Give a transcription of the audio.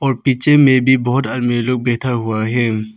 और पीछे में भी बहोत आदमी लोग बैठा हुआ है।